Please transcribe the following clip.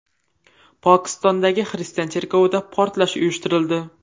Pokistondagi xristian cherkovida portlash uyushtirildi.